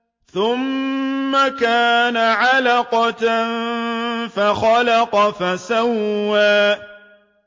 ثُمَّ كَانَ عَلَقَةً فَخَلَقَ فَسَوَّىٰ